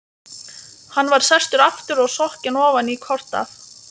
Hann var sestur aftur og sokkinn ofan í kort af